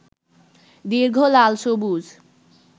দীর্ঘ লাল সবুজ